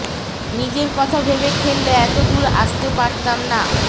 নিজের কথা ভেবে খেললে এত দূর আসতে পারতাম না